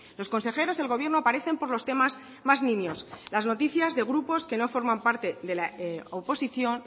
los consejeros y el gobierno aparecen por los temas más nimios las noticias de grupos que no forman parte